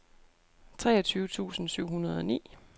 treogtyve tusind syv hundrede og ni